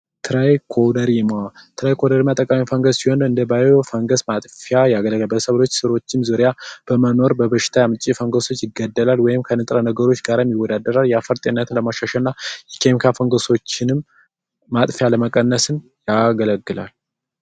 ትራይኮረሪማ አጠቃላይ ፈንገስ ሲሆን እንደ ባዮ ፈንገስ ማጥፊያ ያገለግላል በሰው ልጅ ስራዎችም ዙሪያ በመኖር በሽታ ያመጣል ፈንገሱ ይገደላል ወይም ከንጥረ ነገሮች ጋር ይወዳደራል የአፈር ጤንነትን ለማሻሻልና የአፈር ፈንገሶች ያገ ማጥፊያ ለመቀነስም ያገለግላል።